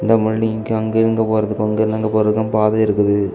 இந்த பில்டிங்க்கு அங்க இருந்து இங்க போறதுக்கு இங்க இருந்து அங்க போறதுக்கு பாத இருக்குது.